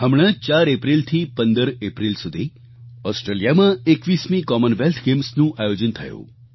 હમણાં જ 4 એપ્રિલથી 15 એપ્રિલ સુધી ઓસ્ટ્રેલિયામાં 21મી કોમનવેલ્થ ગેમ્સનું આયોજન થયું